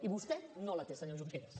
i vostè no la té senyor junqueras